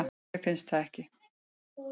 Mér finnst það ekki.